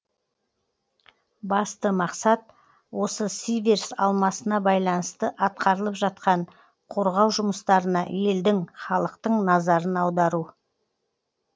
басты мақсат осы сиверс алмасына байланысты атқарылып жатқан қорғау жұмыстарына елдің халықтың назарын аудару